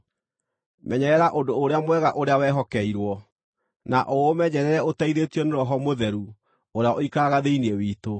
Menyerera ũndũ ũrĩa mwega ũrĩa wehokeirwo, na ũũmenyerere ũteithĩtio nĩ Roho Mũtheru ũrĩa ũikaraga thĩinĩ witũ.